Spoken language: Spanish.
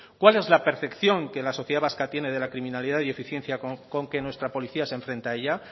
cuál es la percepción que la sociedad vasca tiene de la criminalidad y eficiencia con que nuestra policía se enfrenta a ella